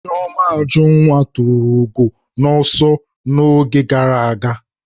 Chioma Ajunwa tụrụ ugo n'ọsọ n'oge gara aga